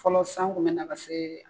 Fɔlɔ san kun bɛ na ka se.